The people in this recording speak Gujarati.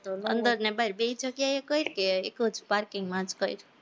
અંદર ને બાર બેય જગ્યાએ કર કે એક જ parking માં જ કર